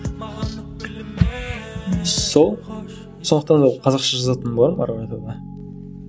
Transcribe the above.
маған өкпелеме сол сондықтан да қазақша жазатыным бар әрі қарата да